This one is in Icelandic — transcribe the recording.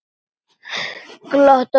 Glott á vörum hennar.